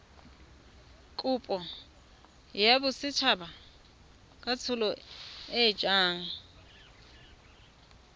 kopo ya botsadikatsholo e yang